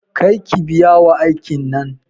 Kar ki biya wa aikin nan.